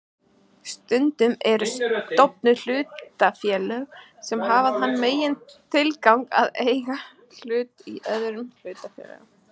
Stundum eru stofnuð hlutafélög sem hafa þann megintilgang að eiga hluti í öðrum hlutafélögum.